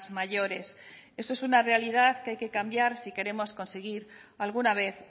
mayores eso es una realidad que hay que cambiar si queremos conseguir alguna vez